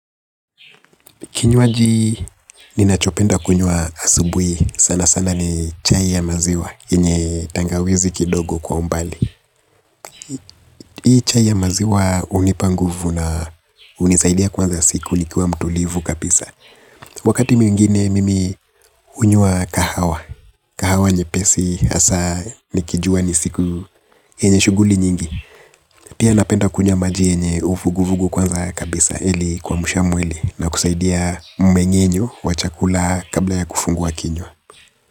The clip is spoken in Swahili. Kinywaji ninachopenda kunywa asubui sana sana ni chai ya maziwa yenye tangawizi kidogo kwa umbali hii chai ya maziwa hunipa nguvu na hunisaidi kuanza siku nikiwa mtulivu kabisa wakati mwingine mimi hunyuwa kahawa kahawa nyepesi hasa nikijua ni siku yenye shughuli nyingi pia napenda kunywa maji yenye uvuguvugu kwanza kabisa kuamsha mwili na kusaidi ya mmeng'enyo wa chakula kabla ya kufungua kinywa.